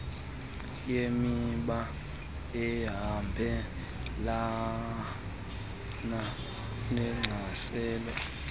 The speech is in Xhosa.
yemiba ehambelana nechasene